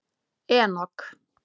Enok